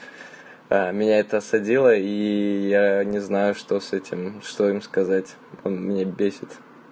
а меня это осадило и я не знаю что с этим что им сказать он меня бесит